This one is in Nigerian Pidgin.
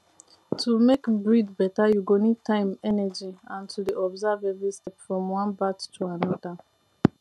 to make breed better you go need time energy and to dey observe every step from one batch to another